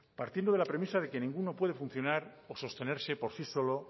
partiendo de la premisa de que ninguno puede funcionar o sostenerse por sí solo